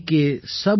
सभ का एकौ सिरजनहार |